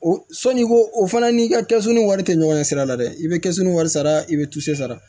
O sɔnni ko o fana n'i ka kɛsu ni wari tɛ ɲɔgɔn ɲɛ sira la dɛ i bɛ kɛsu ni wari sara i bɛ sara